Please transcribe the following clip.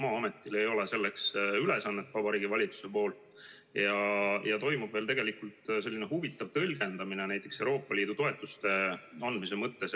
Vabariigi Valitsus ei ole seda Maa-ametile ülesandeks teinud ja toimub selline huvitav tõlgendamine näiteks Euroopa Liidu toetuste andmise mõttes.